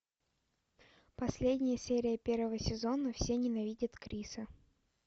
последняя серия первого сезона все ненавидят криса